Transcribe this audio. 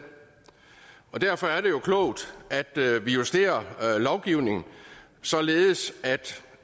og derfor er det jo klogt at vi justerer lovgivningen således